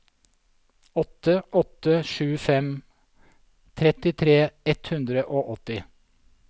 åtte åtte sju fem trettitre ett hundre og åtti